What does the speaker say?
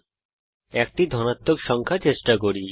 এখন একটি ধনাত্মক সংখ্যা চেষ্টা করি